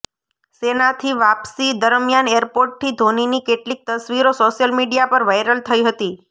સેનાથી વાપસી દરમિયાન એરપોર્ટથી ધોનીની કેટલીક તસવીરો સોશિયલ મીડિયા પર વાયરલ થઈ હતી